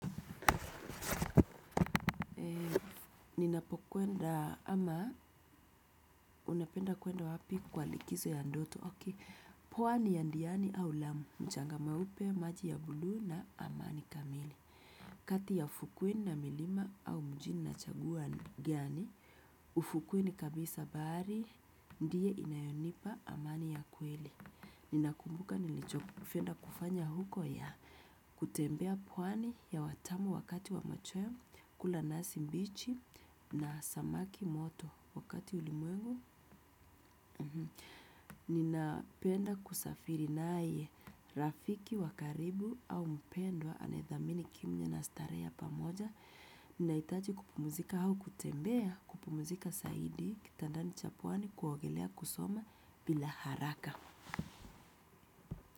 Ninapokwenda ama unapenda kwenda wapi kwa likizo ya ndoto, ok. Pwani ya ndiani au lamu, mchanga mweupe, maji ya bulu na amani kamili. Kati ya fukweni na milima au mjini na chagua gani, ufukweni kabisa bari, ndiye inayonipa amani ya kweli. Ninakumbuka nilichofenda kufanya huko ya kutembea pwani hewa tamu wakati wa machoyo, kula nasi mbichi na samaki moto. Wakati ulimwengu nina penda kusafiri naye. Rafiki wakaribu au mpendwa anaedhamini kimya na starehe ya pamoja. Ninaitaji kupumuzika hau kutembea. Kupumuzika saidi kitandani cha puani kuogelea kusoma bila haraka.